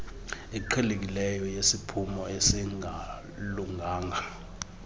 iqhelekileyo yesiphumo esingalunganga